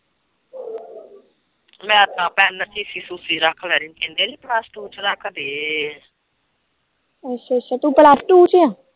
ਅੱਛਾ ਅੱਛਾ ਤੂੰ plus two ਚ ਆ